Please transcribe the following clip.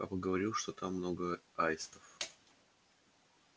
папа говорил что там много аистов